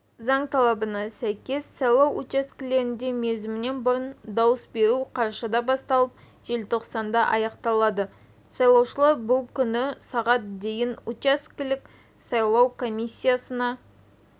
заң талабына сәйкес сайлау учаскелерінде мерзімінен бұрын дауыс беру қарашада басталып желтоқсанда аяқталады сайлаушылар бұл күні сағат дейін учаскелік сайлау комиссиясына